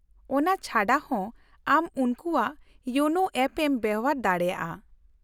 -ᱚᱱᱟ ᱪᱷᱟᱰᱟᱦᱚ, ᱟᱢ ᱩᱱᱠᱩᱣᱟᱜ ᱤᱭᱳᱱᱳ ᱮᱯ ᱮᱢ ᱵᱮᱣᱦᱟᱨ ᱫᱟᱲᱮᱭᱟᱜᱼᱟ ᱾